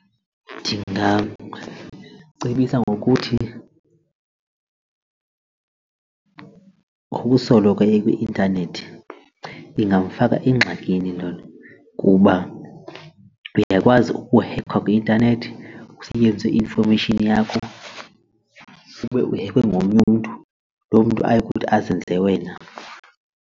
Ndingamcebisa ngokuthi ngokusoloko ekwi-intanethi ingamfaka engxakini loo kuba uyakwazi ukuhekhwa kwi-intanethi kusetyenziswe i-information yakho ube uhekwe ngomnye umntu lo mntu ayokuthi azenze wena.